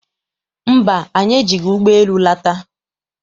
Mba, anyị ejighị ụgbọ elu lata.